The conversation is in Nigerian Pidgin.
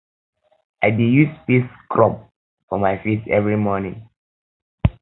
i dey use face um scrub for my face every morning